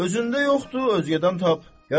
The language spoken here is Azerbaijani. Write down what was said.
Özündə yoxdur, ögədən tap.